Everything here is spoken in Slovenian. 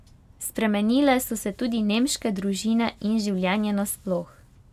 Spremenile so se tudi nemške družine in življenje nasploh.